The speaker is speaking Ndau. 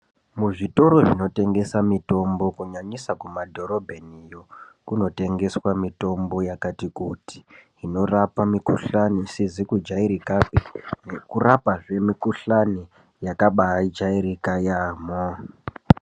Muzvitoro zvinotengesa mitombo kunyanyisa kumadhorobheniyo kunotengeswa mitombo yakati kuti inorapa mikuhlani isizi kujairikapi nekurapazve mikuhlani yakabaajairika yaamo.